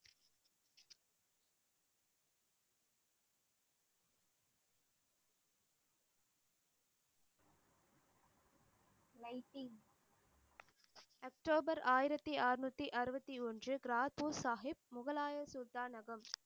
October ஆயிரத்தி ஆறுநூத்தி அறுபத்தி ஒன்று கிராஃபுக் சாஹிப் முகலாய சுல்தானகம்